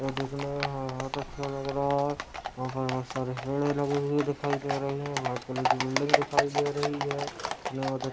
यह दिखने मे बहुत अच्छा लग रहा है वहाँ पर बहुत सारी पेड़े लगी हुई दिखाई दे रहे है | वाइट कलर की बिल्डिंग दिखाई दे रही है --